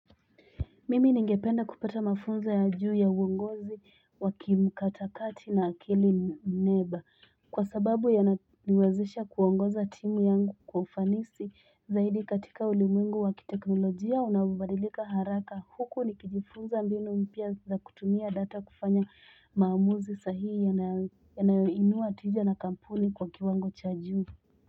Mimi ningependa kupata mafunzo ya juu ya uongozi wa kimkatakati na akili mneba kwa sababu yananiwezesha kuongoza timu yangu kwa ufanisi zaidi katika ulimwengu wa kiteknolojia unaobadilika haraka huku nikijifunza mbinu mpya za kutumia data kufanya maamuzi sahihi yanayoinua tija na kampuni kwa kiwango cha juu.